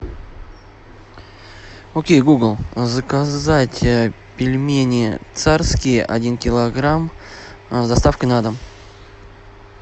окей гугл заказать пельмени царские один килограмм с доставкой на дом